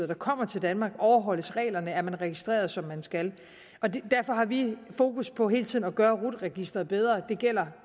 der kommer til danmark overholdes reglerne er man registreret som man skal derfor har vi fokus på hele tiden at gøre rut registeret bedre det gælder